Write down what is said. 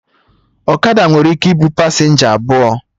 Ọkada nwere ike ịbụ pasenja abụọ